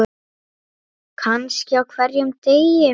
Kannski á hverjum degi.